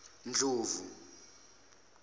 ndlovu